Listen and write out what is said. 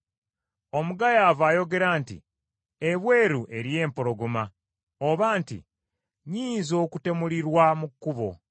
Omugayaavu ayogera nti, “Ebweru eriyo empologoma,” oba nti, “Nnyinza okutemulirwa mu kkubo.”